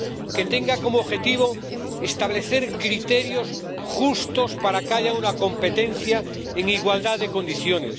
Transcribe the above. que tenga como objetivo establecer criterios justos para que haya una competencia en igualdad de condiciones